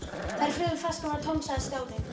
Þegar fyrri flaskan var tóm sagði Stjáni